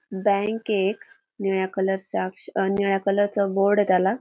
Bank ये एक निळ्या कलर चा अ निळ्या कलरच बोर्ड ये त्याला.